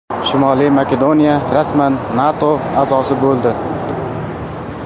Shimoliy Makedoniya rasman NATO a’zosi bo‘ldi.